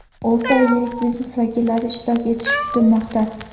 o‘rta va yirik biznes vakillari ishtirok etishi kutilmoqda.